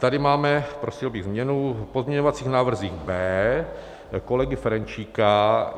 Tady máme, prosil bych, změnu v pozměňovacích návrzích B kolegy Ferjenčíka.